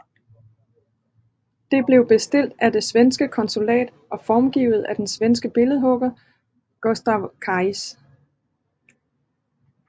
Det blev bestilt af det svenske konsulat og formgivet af den svenske billedhugger Gustav Kraitz